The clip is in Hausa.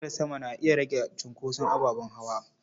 Gadar sama na iya rage cunkoson ababen hawa.